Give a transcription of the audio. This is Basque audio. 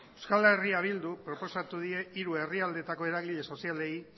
euskal herria bilduk proposatu die hiru herrialdeetako eragile sozialei